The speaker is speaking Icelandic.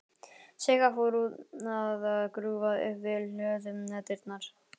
Sigga fór að grúfa upp við hlöðudyrnar.